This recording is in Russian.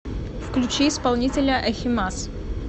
включи исполнителя ахимас